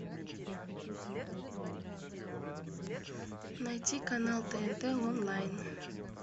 найти канал тнт онлайн